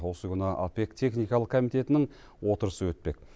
осы күні опек техникалық комитетінің отырысы өтпек